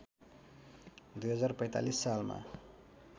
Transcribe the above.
२०४५ सालमा